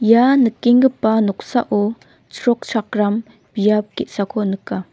ia nikenggipa noksao chrokchakram biap ge·sako nika.